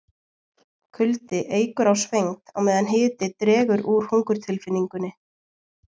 kuldi eykur á svengd á meðan hiti dregur úr hungurtilfinningunni